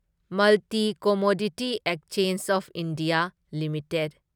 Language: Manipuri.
multi commodity exchange of India limited